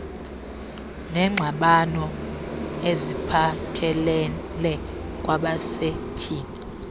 neengxabano eziphathelele kwabasetyhini